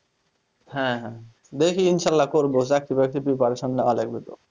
হ্যাঁ হ্যাঁ দেখি ইনশাআল্লাহ করবো চাকরি বাকরি preparation নেওয়া লাগবে তো,